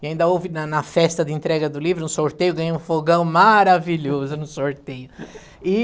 E ainda houve, na na festa de entrega do livro, um sorteio, ganhei um fogão maravilhoso no sorteio. E...